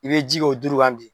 I bɛ ji k'o duuru kan bi